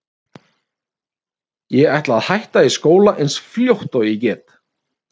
Ég ætla að hætta í skóla eins fljótt og ég get.